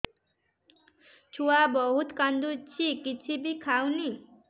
ଛୁଆ ବହୁତ୍ କାନ୍ଦୁଚି କିଛିବି ଖାଉନି